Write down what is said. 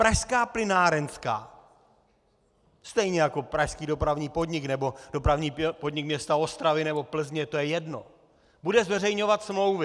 Pražská plynárenská - stejně jako pražský Dopravní podnik nebo Dopravní podnik města Ostravy nebo Plzně, to je jedno - bude zveřejňovat smlouvy.